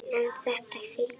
En þetta fylgir.